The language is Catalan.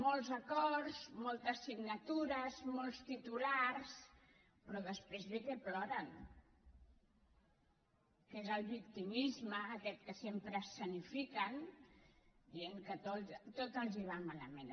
molts acords moltes signatures molts titulars però després bé que ploren que és el victimisme aquest que sempre escenifiquen dient que tot els va malament